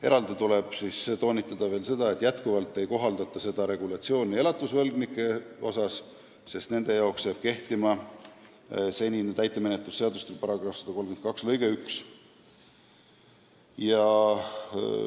Eraldi tuleb toonitada, et endiselt ei kohaldataks seda regulatsiooni elatusvõlgnikele, sest nende jaoks jääb kehtima senine täitemenetluse seadustiku § 132 lõige 11.